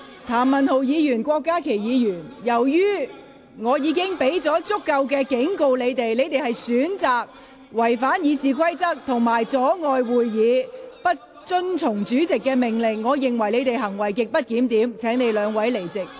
譚文豪議員、郭家麒議員，由於我已向你們作出足夠警告，而你們選擇違反《議事規則》及阻礙會議進行，不遵從主席的命令，我認為你們行為極不檢點，請離開會議廳。